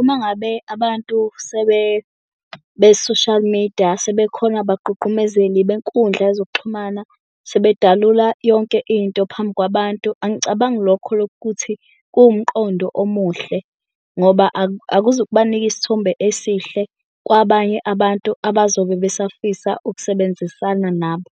Uma ngabe abantu be-social media, sebekhona bagqugqumezeli benkundla yezokuxhumana sebedalula yonke into phambi kwabantu. Angicabangi lokho lokuthi kuwumqondo omuhle ngoba akuzukubanika isithombe esihle kwabanye abantu abazobe besafisa ukusebenzisana nabo.